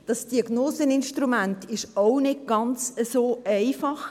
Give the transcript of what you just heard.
Das Diagnoseinstrument ist auch nicht so ganz einfach.